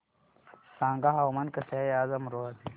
सांगा हवामान कसे आहे आज अमरोहा चे